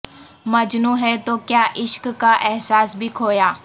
مجنو ں ہے تو کیا عشق کا احساس بھی کھویا